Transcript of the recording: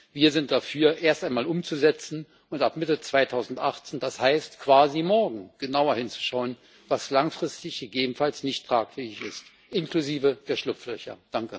Und wir sind dafür, erst einmal umzusetzen und ab Mitte 2018 das heißt, quasi morgen genauer hinzuschauen, was langfristig gegebenenfalls nicht tragfähig ist, inklusive der Schlupflöcher.